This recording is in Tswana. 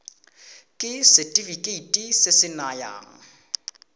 ke setefikeiti se se nayang